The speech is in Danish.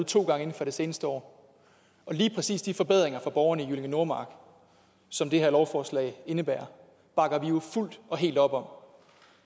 to gange inden for det seneste år og lige præcis de forbedringer for borgerne i jyllinge nordmark som det her lovforslag indebærer bakker vi jo fuldt og helt op om